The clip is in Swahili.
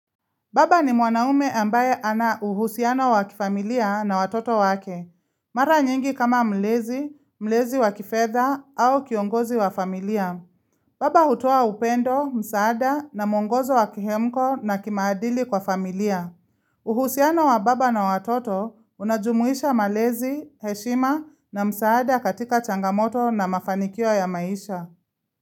Baba ni mwanaume ambaye ana uhusiano wa kifamilia na watoto wake. Mara nyingi kama mlezi, mlezi wa kifedha au kiongozi wa familia. Baba hutoa upendo, msaada na mwongozo wa kihemko na kimaadili kwa familia. Uhusiano wa baba na watoto unajumuisha malezi, heshima na msaada katika changamoto na mafanikio ya maisha.